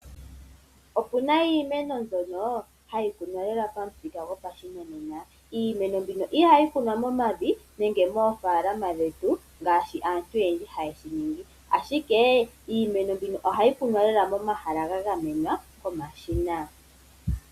Opuna iimeno mbyono hayi kunwa lela pamuthika gwopashinanena. iimeno mbino ihayi kunwa momavi nenge moofalama dhetu ngaaashi aatu oyendji haye shiningi Ashike iimeno mbino ohayi kunwa lela momahala ga gamenwa komashina.